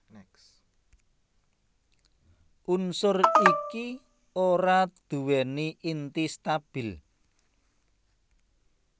Unsur iki ora nduwèni inti stabil